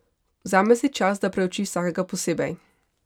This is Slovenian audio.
Vzame si čas, da preuči vsakega posebej.